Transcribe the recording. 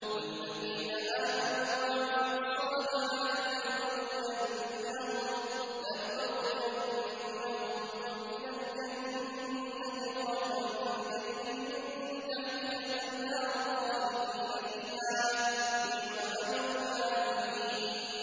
وَالَّذِينَ آمَنُوا وَعَمِلُوا الصَّالِحَاتِ لَنُبَوِّئَنَّهُم مِّنَ الْجَنَّةِ غُرَفًا تَجْرِي مِن تَحْتِهَا الْأَنْهَارُ خَالِدِينَ فِيهَا ۚ نِعْمَ أَجْرُ الْعَامِلِينَ